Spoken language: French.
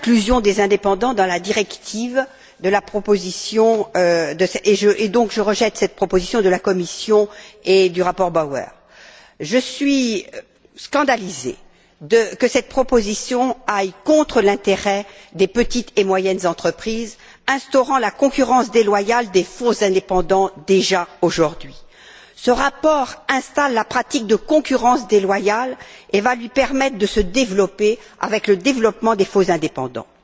Madame la Présidente, je suis pour l'inclusion des indépendants dans la proposition de directive, et donc je rejette cette proposition de la Commission et le rapport Bauer. Je suis scandalisée que cette proposition aille contre l'intérêt des petites et moyennes entreprises en instaurant la concurrence déloyale des faux indépendants, déjà aujourd'hui. Ce rapport installe la pratique de concurrence déloyale et va lui permettre de se développer avec le développement des faux indépendants.